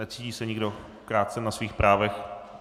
Necítí se nikdo krácen na svých právech?